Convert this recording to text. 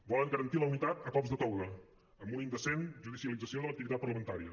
volen garantir la unitat a cops de toga amb una indecent judicialització de l’activitat parlamentària